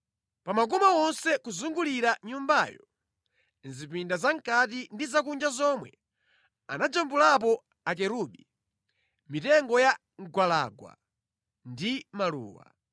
Pa makoma onse kuzungulira Nyumbayo, mʼzipinda za mʼkati ndi za kunja zomwe, anajambulapo akerubi, mitengo ya mgwalangwa ndi maluwa.